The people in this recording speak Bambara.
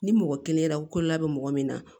Ni mɔgɔ kelen ko la bɛ mɔgɔ min na